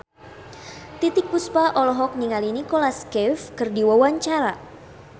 Titiek Puspa olohok ningali Nicholas Cafe keur diwawancara